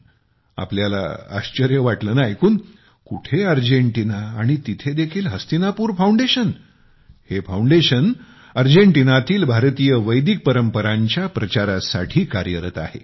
तुम्हाला आश्चर्य वाटेल ना ऐकून कुठे अर्जेंटिना आणि तिथे देखील हस्तिनापुर फाउंडेशन हे फाउंडेशन अर्जेंटिनातील भारतीय वैदिक परंपरांच्या प्रचारासाठी कार्यरत आहे